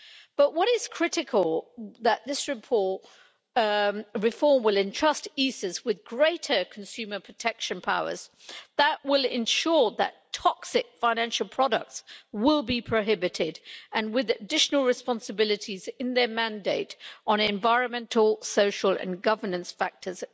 But what is critical is that this reform will entrust the ESAs with greater consumer protection powers that will ensure that toxic financial products will be prohibited, and with additional responsibilities in their mandate on environmental, social and governance factors.